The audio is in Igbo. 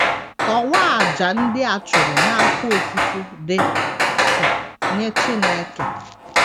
Kọwaa àjà ndị a chụrụ n’afọ ofufo dị k nye Chineke.